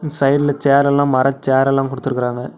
Side ல சேரெ ல்லா மர சேரெ ல்லா குடுத்துருக்கறாங்க.